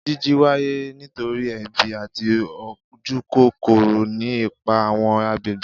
Jiji waye nitori ebi ati ojukokoro, ni ipa awọn agbegbe.